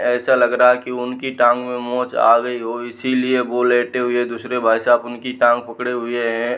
ऐसा लग रहा है की उनकी टांग मे मोच आ गई हो। इसलिए वो लेटे हुए दूसरे भाई साहब उनकी टांग पकड़े हुए हैं।